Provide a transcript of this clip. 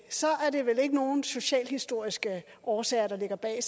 er det vel ikke nogen socialhistoriske årsager der ligger bag